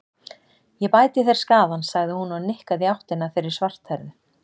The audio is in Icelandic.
Ég bæti þér skaðann, sagði hún og nikkaði í áttina að þeirri svarthærðu.